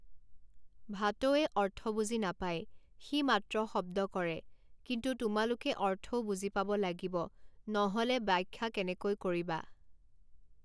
ভাঁটৌৱে অৰ্থ বুজি নাপায় সি মাত্ৰ শব্দ কৰে কিন্তু তোমালোকে অৰ্থও বুজি পাব লাগিব ন হলে ব্যাখ্যা কেনেকৈ কৰিবা?